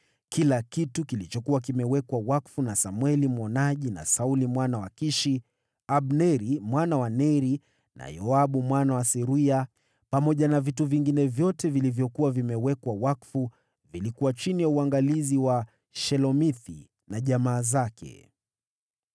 Kila kitu kilichokuwa kimewekwa wakfu na Samweli mwonaji, na Sauli mwana wa Kishi, Abneri mwana wa Neri, na Yoabu mwana wa Seruya, pamoja na vitu vingine vyote vilivyokuwa vimewekwa wakfu, vyote vilikuwa chini ya uangalizi wa Shelomithi na jamaa zake.